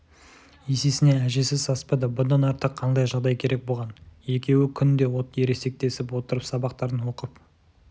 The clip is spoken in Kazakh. есесіне әжесі саспады бұдан артық қандай жағдай керек бұған екеуі күн де ересектесіп отырып сабақтарын оқып